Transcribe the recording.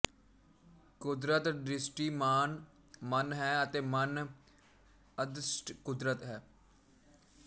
ਕੁਦਰਤ ਦ੍ਰਿਸ਼ਟੀਮਾਨ ਮਨ ਹੈ ਅਤੇ ਮਨ ਅਦ੍ਰਸ਼ਟ ਕੁਦਰਤ ਹੈ